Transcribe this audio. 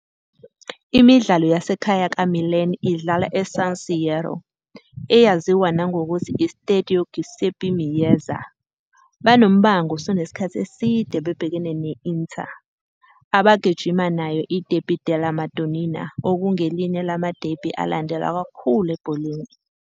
Imidlalo yasekhaya kaMilan idlalwa eSan Siro, eyaziwa nangokuthi iStadio Giuseppe Meazza. Banombango osunesikhathi eside bebhekene ne-Inter, abagijima nayo iDerby della Madonnina okungelinye lama-derby alandelwa kakhulu ebholeni.